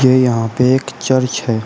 यहां पे एक चर्च है।